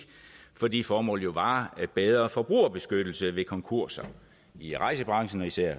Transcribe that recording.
fordi formålet var jo bedre forbrugerbeskyttelse ved konkurser i rejsebranchen og især